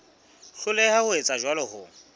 hloleha ho etsa jwalo ho